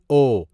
او